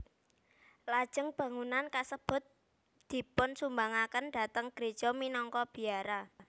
Lajeng bangunan kasebut dipunsumbangaken dhateng gréja minangka biara